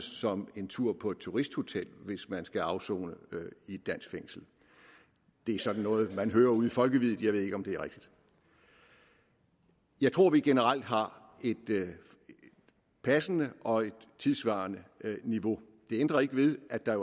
som en tur på et turisthotel hvis man skal afsone i et dansk fængsel det er sådan noget man hører ude i folkeviddet jeg ved ikke om det er rigtigt jeg tror vi generelt har et passende og tidssvarende niveau det ændrer ikke ved at der